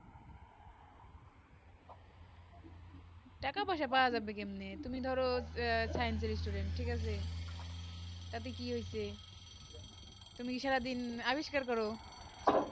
টাকা পয়সা পৰা যাবে কেমনি তুমি ধরো science এর student ঠিক আছে তাতে কি হয়েছে তুমি সারা দিন আবিষ্কার করো